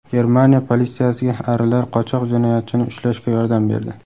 Germaniya politsiyasiga arilar qochoq jinoyatchini ushlashga yordam berdi.